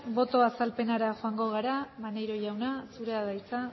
boto azalpenera joango gara maneiro jauna zurea da hitza